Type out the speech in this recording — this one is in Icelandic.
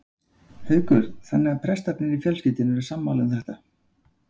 Haukur: Þannig að prestarnir í fjölskyldunni eru sammála um þetta?